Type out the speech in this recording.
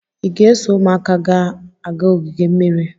Ị ga-eso ụmụaka ga-aga ogige mmiri?